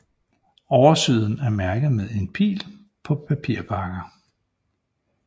Oversiden er mærket med en pil på papirpakker